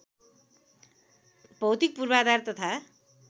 भौतिक पूर्वाधार तथा